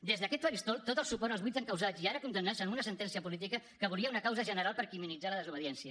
des d’aquest faristol tot el suport als vuit encausats i ara condemnats amb una sentència política que volia una causa general per criminalitzar la desobediència